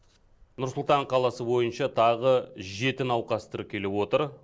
нұр сұлтан қаласы бойынша тағы жеті науқас тіркеліп отыр